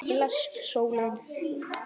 Blessuð sólin.